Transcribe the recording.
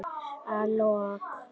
Að lok